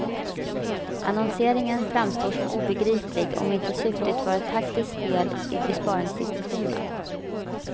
Annonseringen framstår som obegriplig, om inte syftet varit ett taktiskt spel i besparingsdiskussionen.